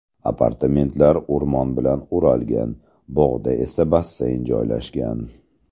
Apartamentlar o‘rmon bilan o‘ralgan, bog‘da esa basseyn joylashgan.